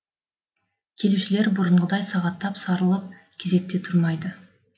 келушілер бұрынғыдай сағаттап сарылып кезекте тұрмайды